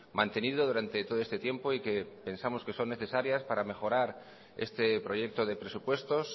mantenido durante todo este tiempo y que pensamos que son necesarias para mejorar este proyecto de presupuestos